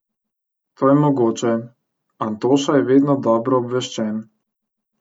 To je mogoče, Antoša je vedno dobro obveščen.